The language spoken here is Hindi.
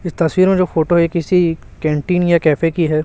इस तस्वीर में जो फोटो है किसी कैंटीन या कैफे की है।